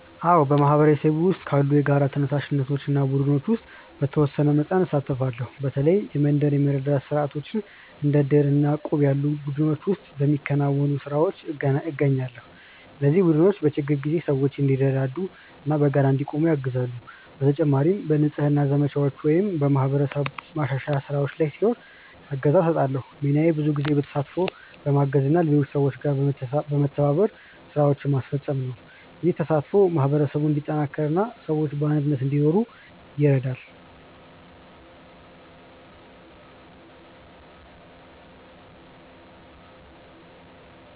አዎ፣ በማህበረሰቤ ውስጥ ባሉ የጋራ ተነሳሽነቶች እና ቡድኖች ውስጥ በተወሰነ መጠን እሳተፋለሁ። በተለይ የመንደር የመረዳዳት ስርዓቶች እንደ ዕድር እና እቁብ ያሉ ቡድኖች ውስጥ በሚከናወኑ ስራዎች እገኛለሁ። እነዚህ ቡድኖች በችግር ጊዜ ሰዎች እንዲረዳዱ እና በጋራ እንዲቆሙ ያግዛሉ። በተጨማሪም በንጽህና ዘመቻዎች ወይም በማህበረሰብ ማሻሻያ ስራዎች ላይ ሲኖር እገዛ እሰጣለሁ። ሚናዬ ብዙ ጊዜ በተሳትፎ፣ በማገዝ እና በሌሎች ሰዎች ጋር በመተባበር ስራዎችን ማስፈጸም ነው። ይህ ተሳትፎ ማህበረሰቡን እንዲጠናከር እና ሰዎች በአንድነት እንዲኖሩ ይረዳል።